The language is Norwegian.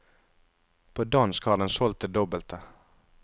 På dansk har den solgt det dobbelte.